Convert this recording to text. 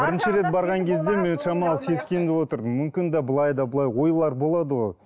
бірінші рет барған кезде мен шамалы сескеніп отырдым мүмкін де былай да былай ойлар болады ғой